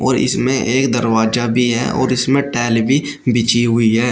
और इसमें एक दरवाजा भी है और इसमें टैल भी बिछी हुई है।